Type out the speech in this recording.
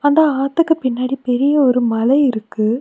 அந்த ஆத்துக்கு பின்னாடி பெரிய ஒரு மலை இருக்கு.